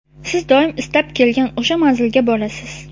siz doim istab kelgan o‘sha manzilga borasiz.